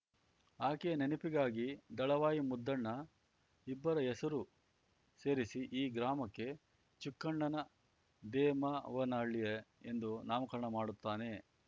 ಆಕೆಯ ನೆನಪಿಗಾಗಿ ದಳವಾಯಿ ಮುದ್ದಣ್ಣ ಇಬ್ಬರ ಹೆಸರು ಸೇರಿಸಿ ಈ ಗ್ರಾಮಕ್ಕೆ ಚುಕ್ಕಣ್ಣನ ದೇಮವ್ವನಹಳ್ಳಿ ಎಂದು ನಾಮಕರಣ ಮಾಡುತ್ತಾನೆ